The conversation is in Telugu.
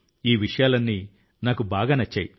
ఈ విషయాలన్నీ నాకు బాగా నచ్చాయి